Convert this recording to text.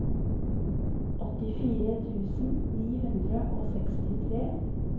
åttifire tusen ni hundre og sekstitre